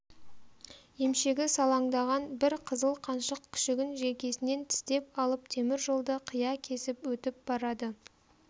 емшегі салаңдаған бір қызыл қаншық күшігін желкесінен тістеп алып теміржолды қия кесіп өтіп барады